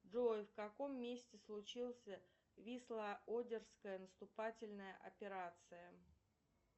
джой в каком месте случился висло одерская наступательная операция